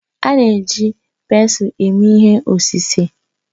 A na-eji pensụl eme ihe osise